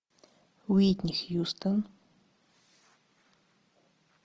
уитни хьюстон